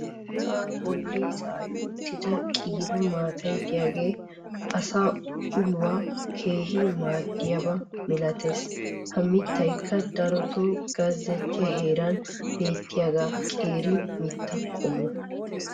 sa"aa boli zaa'i uttida qiiba maatay diyaage asaa ulluwa keehi maadiyaaba malattees. ha mitaykka darotoo gezzettiya heeran beetiyaa qeeri mita qommo.